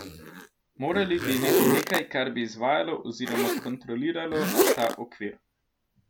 Morali bi imeti nekaj, kar bi izvajalo oziroma kontroliralo ta okvir.